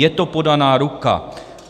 Je to podaná ruka.